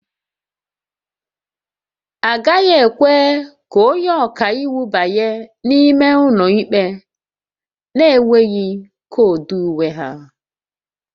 A gaghị ekwe ka onye ọka iwu banye n'ime ụlọ ikpe na-enweghị koodu uwe ha